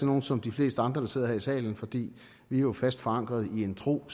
nogle som de fleste andre der sidder her i salen fordi vi jo er fast forankret i en tro